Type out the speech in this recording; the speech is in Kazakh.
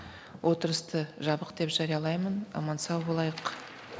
отырысты жабық деп жариялаймын аман сау болайық